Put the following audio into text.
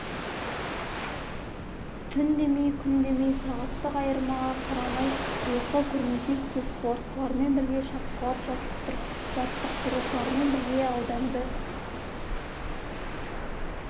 түн демей күн демей сағаттық айырмаға қарамай ұйқы көрмесек те спортшылармен бірге шапқылап жаттықтырушылармен бірге ауданды